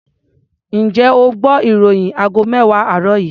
Ǹjẹ́ o gbọ́ ìròyìn aago mẹ́wàá àárọ̀ yìí?